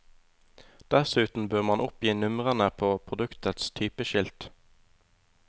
Dessuten bør man oppgi numrene på produktets typeskilt.